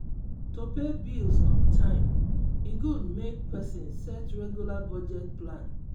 to pay bills on time e good make person set regular budget plan.